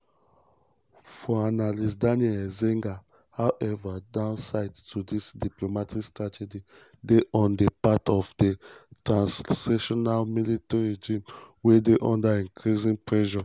for analyst daniel eizenga however downside to dis diplomatic strategy dey on di part of di transitional military regime wey dey under increasing pressure.